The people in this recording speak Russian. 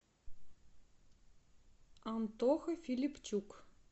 антоха филипчук